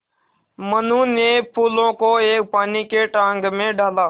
मनु ने फूलों को एक पानी के टांक मे डाला